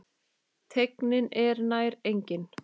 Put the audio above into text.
Teygnin er nær engin.